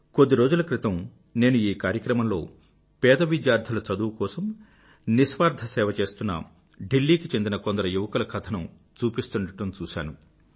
కొద్ది రోజుల క్రితం నేను ఈ కార్యక్రమంలో పేద విద్యార్థుల చదువు కోసం నిస్వార్థ సేవ చేస్తున్న ఢిల్లీ కి చెందిన కొందరు యువకుల కథను చూపిస్తుండడం చూశాను